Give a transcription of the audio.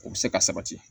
O bɛ se ka sabati